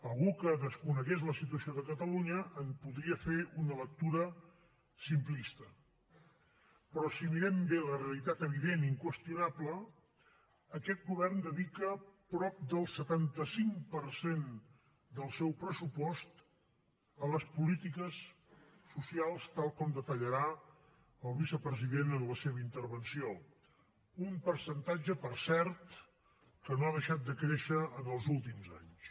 algú que desconegués la situació de catalunya en podria fer una lectura simplista però si mirem bé la realitat evident i inqüestionable aquest govern dedica prop del setanta cinc per cent del seu pressupost a les polítiques socials tal com detallarà el vicepresident en la seva intervenció un percentatge per cert que no ha deixat de créixer en els últims anys